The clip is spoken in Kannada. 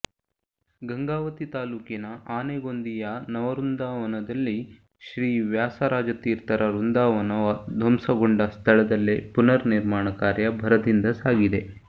ಗಂಗಾವತಿ ತಾಲೂಕಿನ ಆನೆಗೊಂದಿಯ ನವವೃಂದಾವನದಲ್ಲಿ ಶ್ರೀ ವ್ಯಾಸರಾಜತೀರ್ಥರ ವೃಂದಾವನ ಧ್ವಂಸಗೊಂಡ ಸ್ಥಳದಲ್ಲೇ ಪುನರ್ ನಿರ್ಮಾಣ ಕಾರ್ಯ ಭರದಿಂದ ಸಾಗಿದೆ